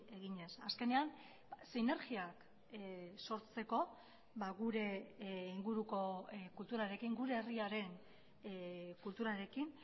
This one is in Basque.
eginez azkenean sinergiak sortzeko gure inguruko kulturarekin gure herriaren kulturarekin